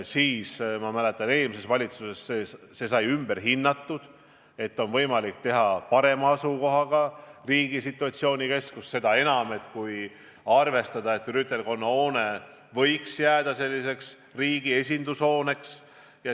Siis, ma mäletan, eelmise valitsuse ajal sai see otsus ümber hinnatud ja leiti, et situatsioonikeskus on võimalik teha paremasse asukoht – seda enam, kui arvestada, et rüütelkonna hoone võiks jääda riigi esindushooneks.